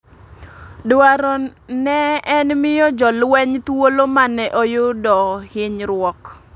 Dwaro ne en miyo jo lweny thuolo mane oyudo hinyruok ,